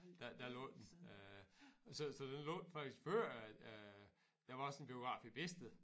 Der der lå den øh så så den lå faktisk før øh der var også en biograf i Bedested